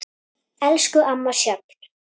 Elsku amma Sjöfn.